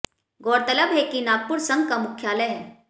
गौरतलब है कि नागपुर संघ का मुख्यालय है